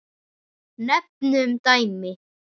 Nefnum dæmi.